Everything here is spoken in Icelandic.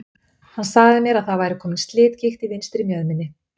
Hann sagði mér að það væri kominn slitgigt í vinstri mjöðminni.